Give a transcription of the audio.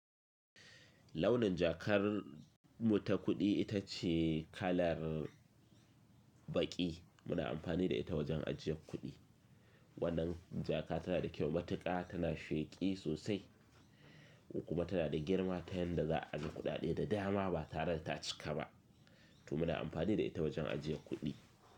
Launin jakar mu ta kuɗi ita ce kalar Banƙi, muna amfani da ita wajen ajiye kuɗi. Wannan jaka tana da kyau matuƙa, tana sheƙi sosai kuma tana da girma ta yanda za a ajiye kuɗaɗe da dama ba tare da ta cika ba. To muna amfani da ita wajen ajiye kuɗi.